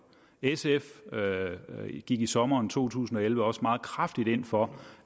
sf gik i sommeren to tusind og elleve også meget kraftigt ind for